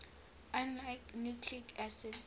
unlike nucleic acids